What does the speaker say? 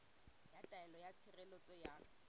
ya taelo ya tshireletso ya